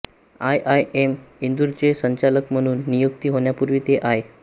I I M इंदूरचे संचालक म्हणून नियुक्ती होण्यापूर्वी ते आय